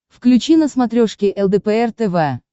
включи на смотрешке лдпр тв